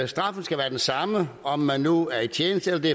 straffen skal være den samme om man nu er i tjeneste eller